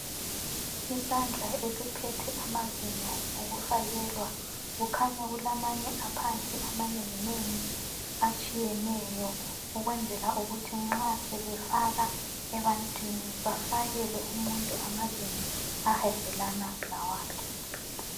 Isandla esiphethe amazinyo okufakelwa kukhanya kulamanye aphansi amanenginengi atshiyeneyo ukwenzela ukuthi nxa sebefaka ebantwini bafakele umuntu amazinyo ahambelana lawakhe.